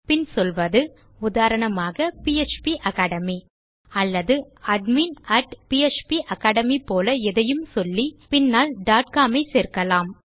பின் சொல்வது உதாரணமாக PHP academy அல்லது அட்மின் php அக்காடமி போல எதையும் சொல்லி பின்னால் com ஐ சேர்க்கலாம்